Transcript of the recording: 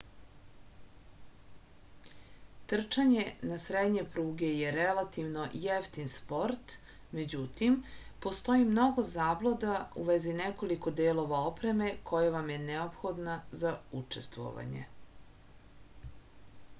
trčanje na srednje pruge je relativno jeftin sport međutim postoji mnogo zabluda u vezi nekoliko delova opreme koja vam je neophodna za učestvovanje